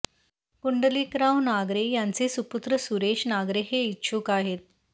कुंडलिकराव नागरे यांचे सुपूत्र सुरेश नागरे हे इच्छुक आहेत